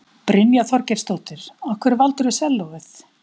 Brynja Þorgeirsdóttir: Af hverju valdirðu sellóið?